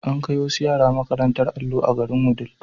An kai wasu yara makarantar allo a garin Wudil.